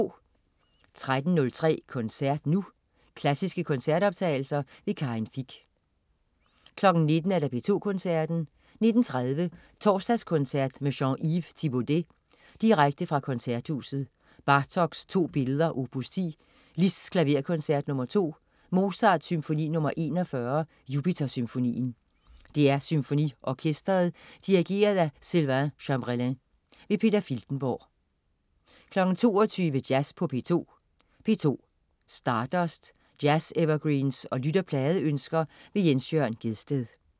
13.03 Koncert nu. Klassiske koncertoptagelser. Karin Fich 19.00 P2 Koncerten. 19.30 Torsdagskoncert med Jean-Yves Thibaudet. Direkte fra Koncerthuset. Bartók: To billeder, opus 10. Liszt: Klaverkoncert nr. 2. Mozart: Symfoni nr. 41, Jupiter. DR SymfoniOrkestret. Dirigent: Sylvain Cambreling. Peter Filtenborg 22.00 Jazz på P2. P2. Stardust. Jazz-evergreens og lytterpladeønsker. Jens Jørn Gjedsted